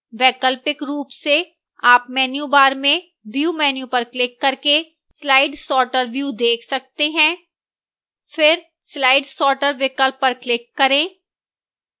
वैकल्पिक रूप से आप menu bar में view menu पर क्लिक करके slide sorter view देख सकते हैं फिर slide sorter विकल्प पर क्लिक करें